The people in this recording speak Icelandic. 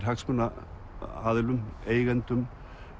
hagsmunaaðilum eigendum